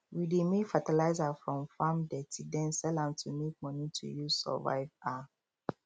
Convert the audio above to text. we dey make fertilizer from farm dirty den sell to make money to use survive um